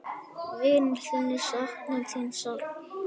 Vinir þínir sakna þín sárt.